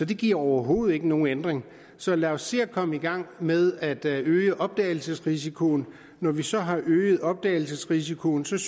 det giver overhovedet ikke nogen ændring så lad os se at komme i gang med at øge opdagelsesrisikoen når vi så har øget opdagelsesrisikoen synes